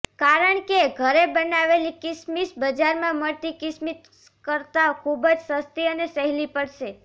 કારણ કે ઘરે બનાવેલી કીસમીસ બજારમાં મળતી કીસમીસ કરતા ખુબ જ સસ્તી અને સહેલી પડશે